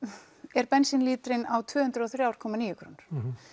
er bensínlíterinn á tvö hundruð og þrjú komma níu krónur